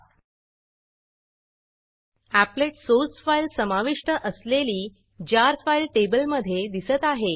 applet applet source file समाविष्ट असलेली jar jar file टेबलमधे दिसत आहे